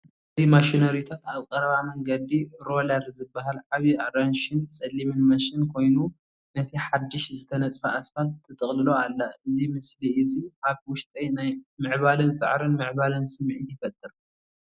እዚ ማሽነሪታት ኣብ ቀረባ መንገዲ ሮለር ዝበሃል ዓቢ ኣራንሺን ጸሊምን ማሽን ኮይኑ ነቲ ሓድሽ ዝተነጽፈ ኣስፋልት ትጥቕልሎ ኣላ። እዚ ምስሊ እዚ ኣብ ውሽጠይ ናይ ምዕባለን ጻዕርን ምዕባለን ስምዒት ይፈጥር።